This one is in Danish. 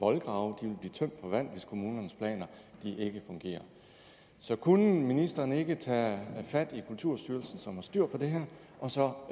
voldgrave vil blive tømt for vand hvis kommunernes planer ikke fungerer så kunne ministeren ikke tage fat i kulturstyrelsen som har styr på det her og så